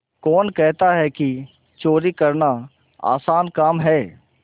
कौन कहता है कि चोरी करना आसान काम है